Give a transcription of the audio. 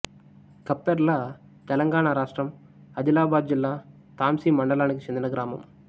ఖప్పెర్లతెలంగాణ రాష్ట్రం ఆదిలాబాదు జిల్లా తాంసీ మండలానికి చెందిన గ్రామం